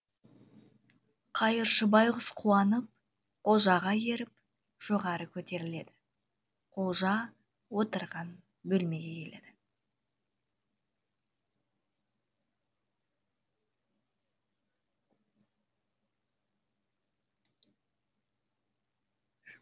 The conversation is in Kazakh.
қайыршы байғұс қуанып қожаға еріп жоғары көтеріледі қожа отырған бөлмеге келеді